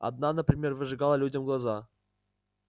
одна например выжигала людям глаза